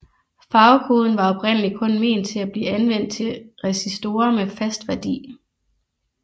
Farvekoden var oprindelig kun ment til at blive anvendt til resistorer med fast værdi